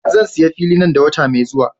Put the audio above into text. Zan sayi fili nan da wata mai zuwa.